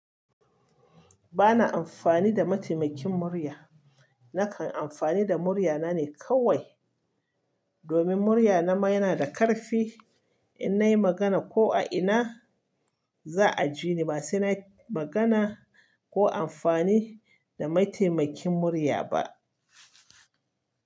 Bana amfani da mataimakin murya. Nakan amfani da muryana ne kawai, domin muryana ma yana da ƙarfi. In nayi magana ko a ina, za a ji ni. Ba sai na yi magana ko amfani da mataimakin murya ba.